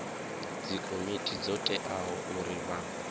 dzikomiti dzo teaho uri vha